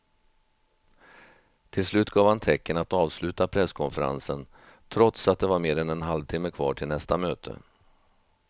Till slut gav han tecken att avsluta presskonferensen trots att det var mer än en halvtimme kvar till nästa möte.